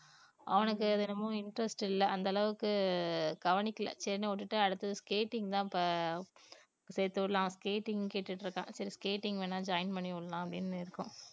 அவனுக்கு அது என்னமோ interest இல்ல அந்தளவுக்கு கவனிக்கல சரின்னு விட்டுட்டு அடுத்தது skating தான் இப்ப சேர்த்துவிடலாம் skating கேட்டிட்ருக்கான் சரி skating வேணும்னா join பண்ணிவிடலாம் அப்படின்னு இருக்கோம்